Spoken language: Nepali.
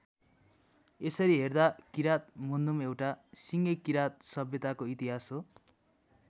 यसरी हेर्दा किरात मुन्धुम एउटा सिङ्गै किरात सभ्यताको इतिहास हो।